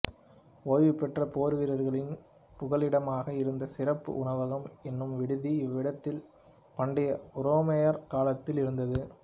ஓய்வுபெற்ற போர்வீரர்களின் புகலிடமாக இருந்த சிறப்பு உணவகம் என்னும் விடுதி இவ்விடத்தில் பண்டைய உரோமையர் காலத்தில் இருந்தது